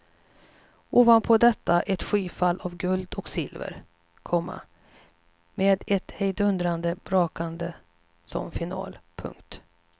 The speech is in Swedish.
Ovanpå detta ett skyfall av guld och silver, komma med ett hejdundrande brakande som final. punkt